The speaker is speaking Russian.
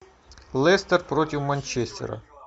лестер против манчестера